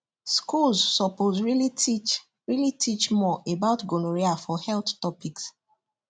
schools suppose really teach really teach more about gonorrhea for health topics